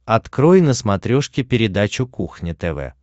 открой на смотрешке передачу кухня тв